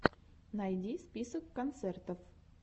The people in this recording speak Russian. найди список концертов